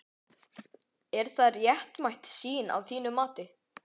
Er það réttmæt sýn að þínu mati?